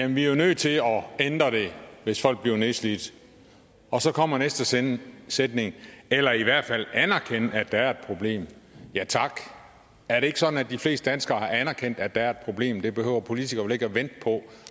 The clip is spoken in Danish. vi er nødt til at ændre det hvis folk bliver nedslidt og så kommer næste sætning eller i hvert fald anerkende at der er et problem ja tak er det ikke sådan at de fleste danskere har anerkendt at der er et problem det behøver politikere vel ikke at vente på